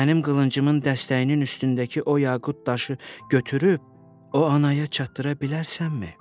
Mənim qılıncımın dəstəyinin üstündəki o yaqut daşı götürüb o anaya çatdıra bilərsənmi?